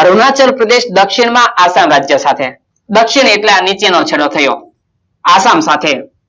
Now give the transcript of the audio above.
અરુણાચલ પ્રદેશ દક્ષિણ માં આસામ રાજ્ય સાથે દક્ષિણ એટલે આ નીચે નો છેડો થયો આસામ સાથે